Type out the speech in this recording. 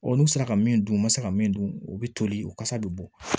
n'u sera ka min dun u ma se ka min dun u bɛ toli u kasa bɛ bɔ